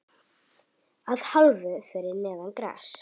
Að hálfu fyrir neðan gras.